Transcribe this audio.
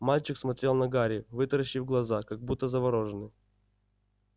мальчик смотрел на гарри вытаращив глаза как будто заворожённый